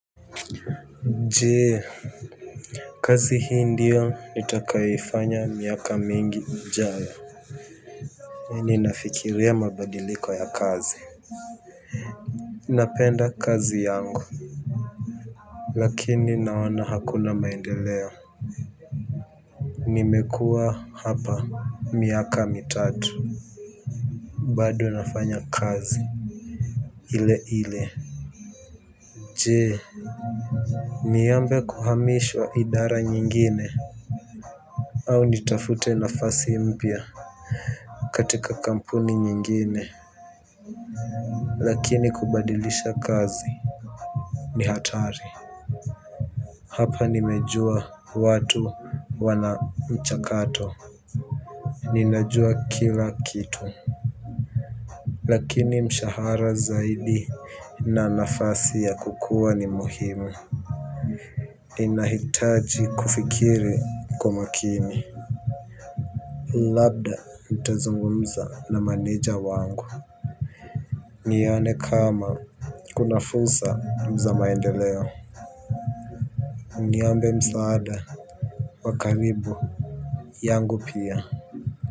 Jee kazi hii ndio nitakayo ifanya miaka mingi ijayo. Ninafikiria mabadiliko ya kazi. Napenda kazi yangu. Lakini naona hakuna maendeleo. Nimekua hapa miaka mitatu. Bado nafanya kazi ile ile. Jee niombe kuhamishwa idara nyingine au nitafute nafasi mpya katika kampuni nyingine. Lakini kubadilisha kazi ni hatari. Hapa nimejua watu wana mchakato. Ninajua kila kitu lakini mshahara zaidi na nafasi ya kukua ni muhimu. Inahitaji kufikiri kwa makini. Labda ntazungumza na maneja wangu nione kama kuna fursa ya maendeleo niombe msaada wa karibu yangu pia.